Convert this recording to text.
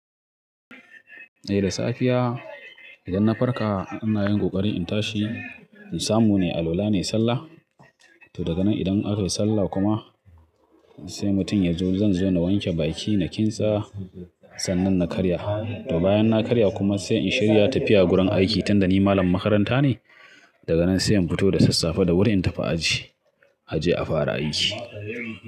Eh da safiya idan na farka, ina yin ƙoƙari in tashi in samu ne, alwala nai sallah. To daga nan idan aka yi sallah kuma sai mutum ya zo zan zo na wanke bakina, na kintsa sannan na karya. To bayan na karya kuma sai in shirya tafiya gurin aiki, tunda ni malamin makaranta ne. Daga nan sai in fito da sassafe da wuri in tafi aji, aje a fara aiki.